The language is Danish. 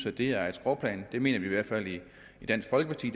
at det er et skråplan det mener vi i hvert fald i dansk folkeparti